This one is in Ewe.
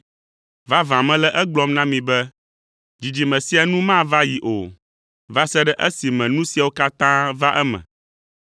Vavã mele egblɔm na mi be dzidzime sia nu mava yi o, va se ɖe esime nu siawo katã va eme.